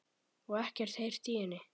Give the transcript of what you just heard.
Og ekkert heyrt í henni?